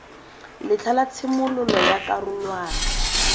letlha la tshimololo ya karolwana